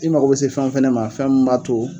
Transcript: I mago be se fɛn min fɛnɛ ma fɛn min b'a to